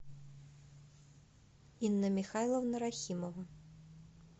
инна михайловна рахимова